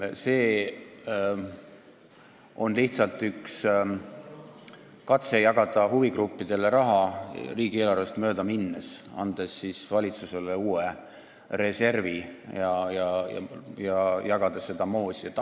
See on lihtsalt üks katse jagada huvigruppidele raha riigieelarvest mööda minnes, andes valitsusele uue reservi, et seda moosi jagada.